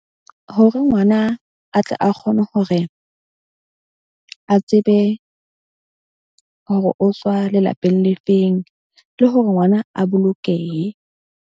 Hore ngwana a tle a kgone hore a tsebe hore o tswa lelapeng le feng, ke hore ngwana a bolokehe.